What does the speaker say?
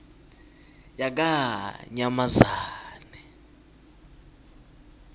yakanyamazane